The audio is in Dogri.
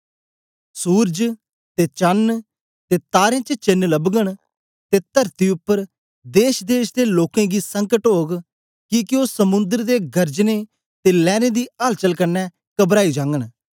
सूरज ते चण ते तारें च चेन्न लबगन ते तरती उपर देशदेश दे लोकें गी संकट ओग किके ओ समुद्र दे गरजने ते लैरें दी हल चल कन्ने कबराई जागन